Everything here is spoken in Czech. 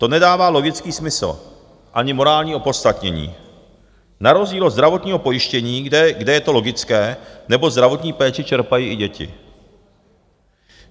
To nedává logický smysl ani morální opodstatnění na rozdíl od zdravotního pojištění, kde je to logické, neboť zdravotní péči čerpají i děti.